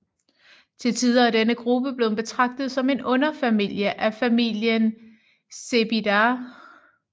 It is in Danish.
Til tider er denne gruppe blevet betragtet som en underfamilie af familien Cebidae